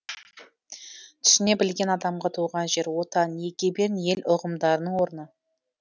түсіне білген адамға туған жер отан егемен ел ұғымдарының орны